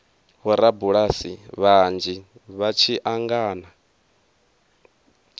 vhorabulasi vhanzhi vha tshi angana